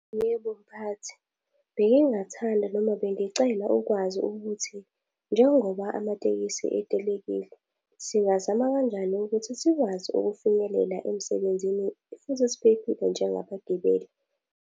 Yebo, mphathi. Bengingathanda noma bengicela ukwazi ukuthi njengoba amatekisi etelekile, singazama kanjani ukuthi sikwazi ukufinyelela emsebenzini futhi siphephile njengabagibeli?